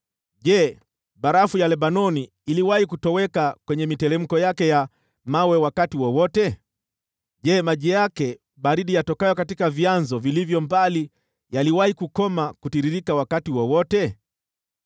Je, barafu ya Lebanoni iliwahi kutoweka kwenye miteremko yake ya mawe wakati wowote? Je, maji yake baridi yatokayo katika vyanzo vilivyo mbali yaliwahi kukoma kutiririka wakati wowote?